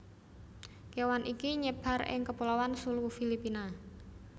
kewan iki nyebar ing kepulauan Sulu Filipina